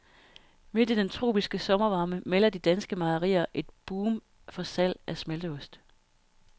Midt i den tropiske sommervarme melder de danske mejerier om et boom for salg af smelteost.